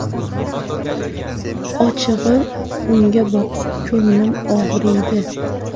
Ochig‘i, unga boqib, ko‘nglim og‘riydi.